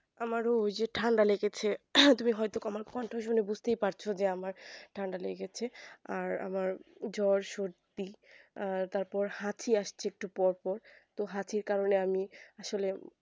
আমার ওই যে ঠান্ডা লেগেছে তুমি হয় তো আমার কণ্ঠ শুনে বুঝতেই পারছো যে আমার ঠান্ডা লেগেছে আর আমার জ্বর সরধী আর তার পর হাঁচি আসছে একটু পর পর তো হাঁচির কারণে আমি আসলে